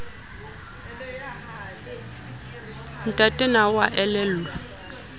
ntate na o a elellwa